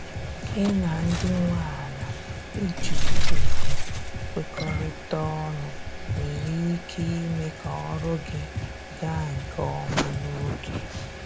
Gị na ndị nwe ala iji ùgwù kwekorita ọnụ nwere ike ime ka ọrụ gị ga nke ọma n'oge